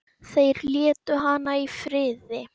Þeir létu hana í friði.